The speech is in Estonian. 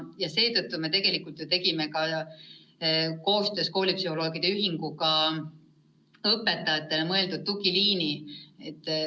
Koostöös koolipsühholoogide ühinguga me lõime õpetajatele mõeldud tugiliini.